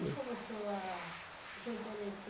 Como começou, ah, o seu interesse pelo